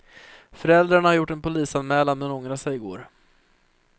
Föräldrarna har gjort en polisanmälan men ångrade sig i går.